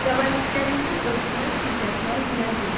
Qəbahətlərimizi örtmək, gizlətmək hünər deyil.